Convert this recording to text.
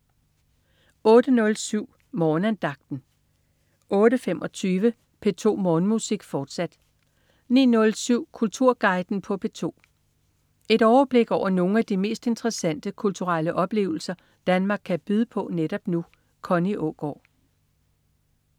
08.07 Morgenandagten 08.25 P2 Morgenmusik, fortsat 09.07 Kulturguiden på P2. Et overblik over nogle af de mest interessante kulturelle oplevelser Danmark kan byde på netop nu. Connie Aagaard